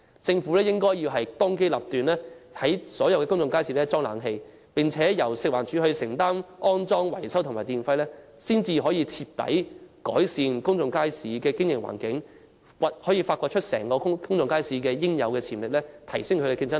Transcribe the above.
政府應當機立斷，為所有公眾街市安裝空調設施，並且由食環署負擔安裝、維修費用及電費，才可徹底改善公眾街市的經營環境，釋放公眾街市應有的潛力，以及提升競爭力。